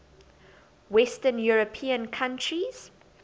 western european countries